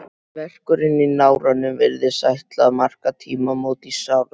Verkurinn í náranum virðist ætla að marka tímamót í sárs